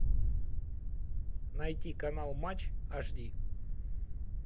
найти канал матч аш ди